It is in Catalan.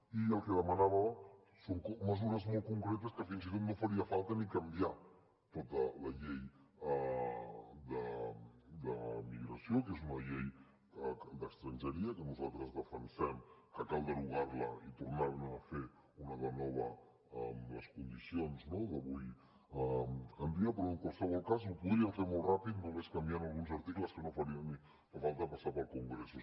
i el que demanava són mesures molt concretes que fins i tot no faria falta ni canviar tota la llei de migració que és una llei d’estrangeria que nosaltres defensem que cal derogar la i tornar ne a fer una de nova amb les condicions d’avui en dia però en qualsevol cas ho podrien fer molt ràpid només canviant alguns articles que no faria ni falta passar pel congreso